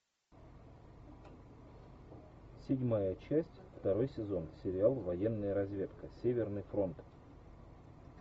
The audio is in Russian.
седьмая часть второй сезон сериал военная разведка северный фронт